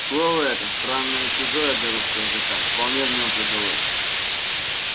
слово это странное и чужое для русского языка вполне в нем прижилось